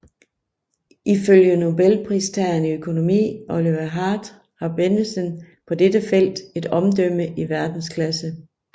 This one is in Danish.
Ifølge Nobelpristageren i økonomi Oliver Hart har Bennedsen på dette felt et omdømme i verdensklasse